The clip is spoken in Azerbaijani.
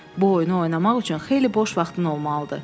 Bu oyunu oynamaq üçün xeyli boş vaxtın olmalıdır.